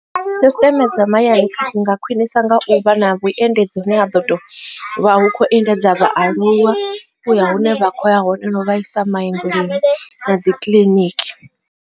System dza mahayani dzi nga khwinisa nga u vha na vhuendedzi hune ha ḓo to vha hu khou endedza vhaaluwa u ya hune vha kho ya hone no vha isa mavhengeleni na dzi kiḽiniki.